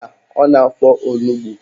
Mba, ọ na-afọ onugbo